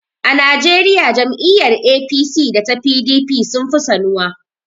A Najeriya jam'iyyar APC da ta PDP sun fi sanuwa.